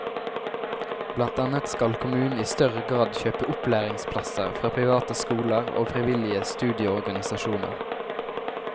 Blant annet skal kommunen i større grad kjøpe opplæringsplasser fra private skoler og frivillige studieorganisasjoner.